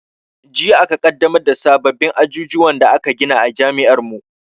Jiya aka ƙaddamar da sababin ajujuwan da aka gina a jami'ar mu